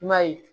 I m'a ye